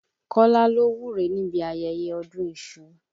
Kọ́lá ló wúre níbi ayẹyẹ ọdún iṣu.